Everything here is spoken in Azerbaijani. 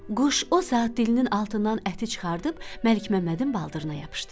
Quş o saat dilinin altından əti çıxarıb Məlik Məmmədin baldırına yapışdırdı.